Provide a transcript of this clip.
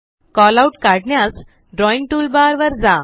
Calloutकाढण्यास drawing toolbar वर जा